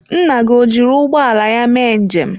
Nna gị o jiri ụgbọ ala ya mee njem?